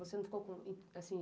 Você não ficou com, assim...